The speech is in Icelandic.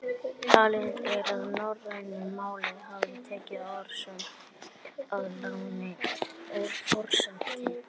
Talið er að norrænu málin hafi tekið orðstofninn að láni úr fornensku.